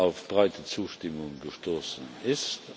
auf breite Zustimmung gestoßen ist.